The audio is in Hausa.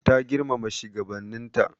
Ta girmama shigabannin ta.